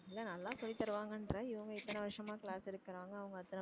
இல்ல நல்லா சொல்லி தருவாங்கன்ற இவங்க இத்தனை வருஷமா class எடுக்கிறாங்க அவுங்க அத்தன